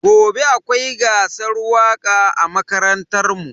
Gobe akwai gasar waka a makarantar mu.